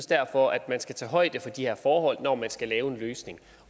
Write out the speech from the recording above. derfor at man skal tage højde for de her forhold når man skal lave en løsning